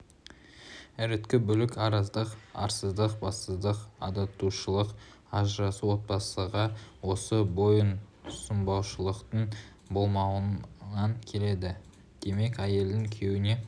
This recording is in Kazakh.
іріткі бүлік араздық арсыздық бассыздық адасушылық ажырасу отбасыға осы бойұсынбаушылықтың болмауынан келеді демек әйелдің күйеуіне